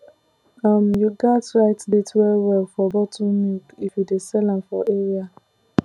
um you gats write date well well for bottle milk if you dey sell am for area